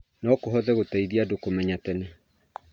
no kũhote gũteithia andũ kũmenya tene